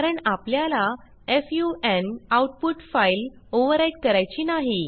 कारण आपल्याला फुन आऊटपुट फाइल ओव्हरव्हराईट करायची नाही